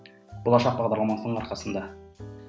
болашақ бағдарламасының арқасында